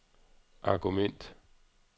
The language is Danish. argument